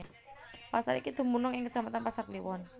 Pasar iki dumunung ing kecamatan Pasar Kliwon